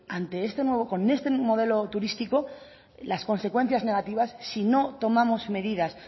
con este nuevo modelo turístico las consecuencias negativas si no tomamos medidas